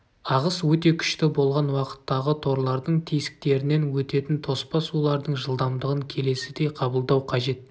ағыс өте күшті болған уақыттағы торлардың тесіктерінен өтетін тоспа сулардың жылдамдығын келесідей қабылдау қажет